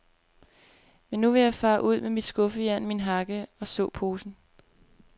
Men nu vil jeg fare ud med mit skuffejern, min hakke og såposen.